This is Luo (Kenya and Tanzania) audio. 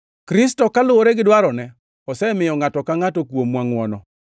Kristo, kaluwore gi dwarone, osemiyo ngʼato ka ngʼato kuomwa ngʼwono.